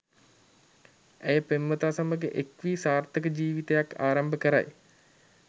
ඇය පෙම්වතා සමඟ එක් වී සාර්ථක ජීවිතයක් ආරම්භ කරයි